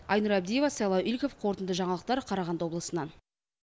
айнұр абдиева сайлау игликов қорытынды жаңалықтар қарағанды облысынан